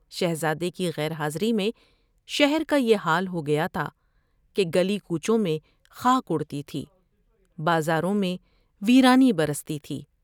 شہزادے کی غیر حاضری میں شہر کا یہ حال ہو گیا تھا کہ گلی کوچوں میں خاک اڑتی تھی ، بازاروں میں ویرانی برستی تھی ۔